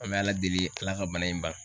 An bɛ Ala deli Ala ka bana in ban.